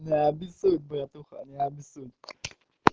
не обессудь братуха не обессудь